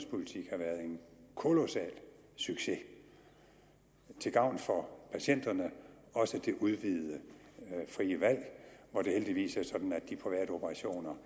kolossal succes til gavn for patienterne også det udvidede frie valg hvor det heldigvis er sådan at de private operationer